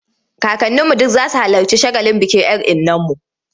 Kakanninu duk za su halarci shagalin bikin 'yar innarmu.